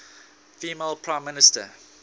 female prime minister